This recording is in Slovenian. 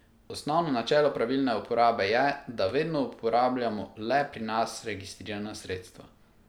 Osnovno načelo pravilne uporabe je, da vedno uporabljamo le pri nas registrirana sredstva.